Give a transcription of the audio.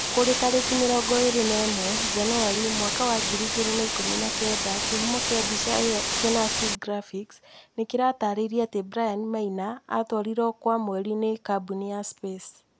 kũrĩ tarĩki 21 Janũarĩ 2019, kĩhumo kĩa mbica ĩyo Kenafri Graphics nĩ kĩratarĩria atĩ Brian Maina atwarirũo kwa Mwerĩ ni kambuni ya Space